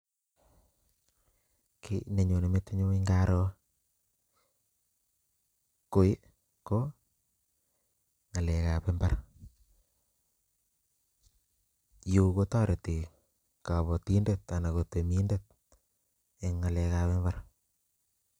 Kiit nenyone metinyu ng'aro koi, ko ng'alekab imbar. Yu kotoreti kabatindet anan ko temindet eng' ngalekab imbar